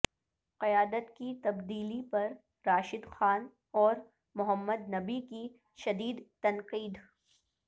قیادت کی تبدیلی پر راشد خان اور محمد نبی کی شدید تنقید